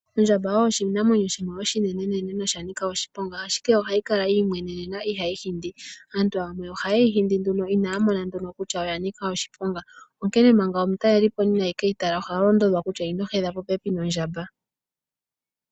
Ondjamba oyo oshinamwenyo shimwe oshinenene noshanika oshiponga ashike ohayi kala yiimwenena ihayi hindi. Aantu yamwe ohaye yi hindi nduno inaya mona nduno kutya oya nika oshiponga, onkene manga omutalelipo ina keyi tala oha londodhwa kutya ino hedha popepi nondjamba.